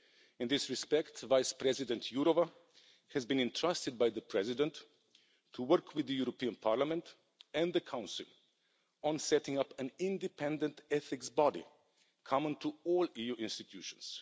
In this respect, Vice President Jourová has been entrusted by the President to work with the European Parliament and the Council on setting up an independent ethics body common to all EU institutions.